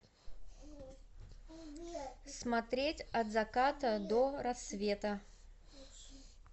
смотреть от заката до рассвета